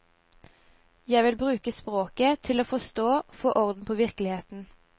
Jeg vil bruke sproget til å forstå, få orden på virkeligheten.